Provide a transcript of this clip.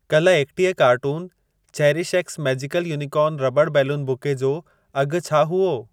कल एकटीह cartoon cherish X magical unicorn rubber balloon bouquet जो अघि छा हुओ?